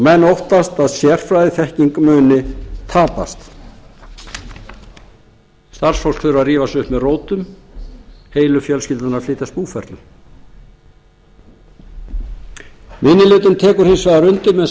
menn óttast að sérfræðiþekking kunni að tapast starfsfólk þurfi að rífa sig upp með rótum heilu fjölskyldurnar að flytjast búferlum minni hlutinn tekur hins vegar undir með